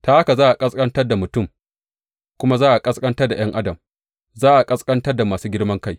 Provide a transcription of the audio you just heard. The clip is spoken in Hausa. Ta haka za a ƙasƙantar da mutum kuma za a ƙasƙantar da ’yan adam, za a ƙasƙanta da masu girman kai.